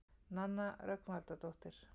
Nanna Rögnvaldardóttir.